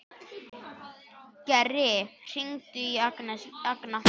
Geri, hringdu í Agna.